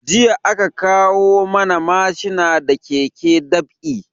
Jiya aka kawo mana mashina da ke dab'i